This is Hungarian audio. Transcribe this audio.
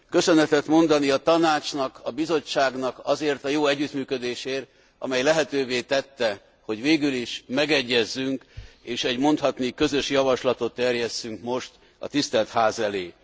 Köszönetet mondani a Tanácsnak, a Bizottságnak azért a jó együttműködésért, amely lehetővé tette, hogy végül is megegyezzünk, és egy mondhatni közös javaslatot terjesszünk most a Tisztelt Ház elé.